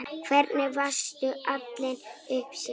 Hvernig varstu alin upp sjálf?